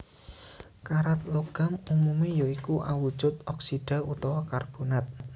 Karat logam umumé ya iku awujud oksida utawa karbonat